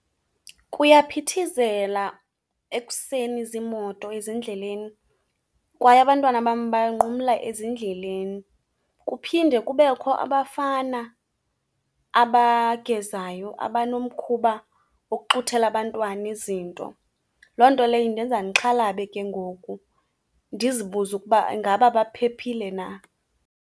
Kuyaphithizela ekuseni ziimoto ezindleleni kwaye abantwana bam banqumla ezindleleni. Kuphinde kubekho abafana abagezayo abanomkhuba wokuxuthela abantwana izinto. Loo nto leyo indenza ndixhalabe ke ngoku, ndizibuze ukuba ingaba baphephile na.